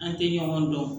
An tɛ ɲɔgɔn dɔn